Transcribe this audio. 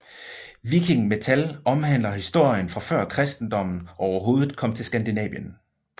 Viking metal omhandler historier fra før kristendommen overhovedet kom til Skandinavien